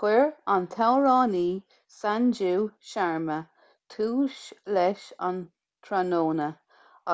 chuir an t-amhránaí sanju sharma tús leis an tráthnóna